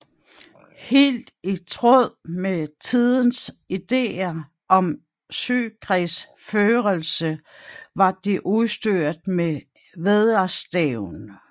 Helt i tråd med tidens ideer om søkrigsførelse var det udstyret med vædderstævn